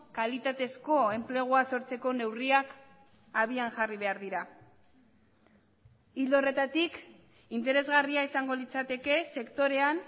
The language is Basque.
kalitatezko enplegua sortzeko neurriak abian jarri behar dira ildo horretatik interesgarria izango litzateke sektorean